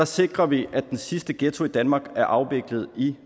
sikrer vi at den sidste ghetto i danmark er afviklet i